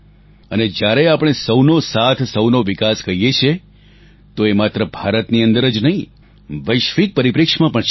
અને જ્યારે આપણે સહુનો સાથ સહુનો વિકાસ કહીએ છીએ તો એ માત્ર ભારતની અંદર જ નહીં વૈશ્વિક પરિપ્રેક્ષ્યમાં પણ છે